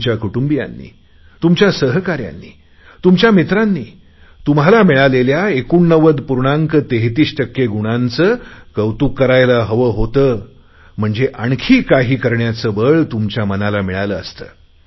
तुमच्या कुटुंबियांनी सहकाऱ्यांनी मित्रांनी तुम्हाला मिळालेल्या उत्कृष्ट गुणांचे कौतुक करायला हवे होते म्हणजे आणखी काही करण्याचे बळ तुम्हाला मिळाले असते